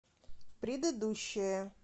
предыдущая